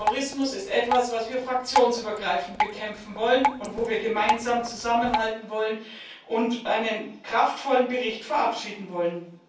Terrorismus ist etwas, was wir fraktionsübergreifend bekämpfen wollen, wo wir gemeinsam zusammenhalten und einen kraftvollen Bericht verabschieden wollen.